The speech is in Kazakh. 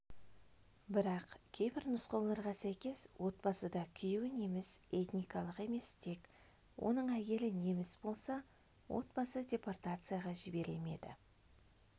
бірақ кейбір нұсқауларға сәйкес отбасыда күйеуі неміс этникалық емес тек оның әйелі неміс болса отбасы депортацияға жіберілмеді